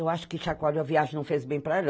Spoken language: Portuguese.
Eu acho que chacoalho da viagem não fez bem para ela.